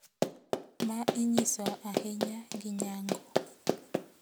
ma inyiso ahinya gi nyango.